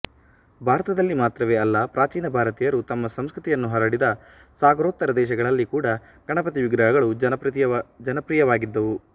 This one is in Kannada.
ಭಾರತದಲ್ಲಿ ಮಾತ್ರವೇ ಅಲ್ಲ ಪ್ರಾಚೀನ ಭಾರತೀಯರು ತಮ್ಮ ಸಂಸ್ಕೃತಿಯನ್ನು ಹರಡಿದ ಸಾಗರೋತ್ತರ ದೇಶಗಳಲ್ಲಿ ಕೂಡ ಗಣಪತಿವಿಗ್ರಹಗಳು ಜನಪ್ರಿಯವಾಗಿದ್ದುವು